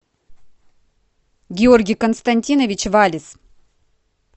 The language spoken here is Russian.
георгий константинович валис